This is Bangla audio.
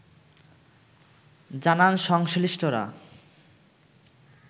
জানান সংশ্লিষ্টরা